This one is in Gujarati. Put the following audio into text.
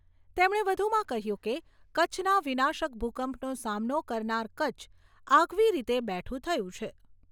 તેમણે વધુમાં કહ્યું કે, કચ્છના વિનાશક ભૂકંપનો સામનો કરનાર કચ્છ આગવી રીતે બેઠું થયું છે.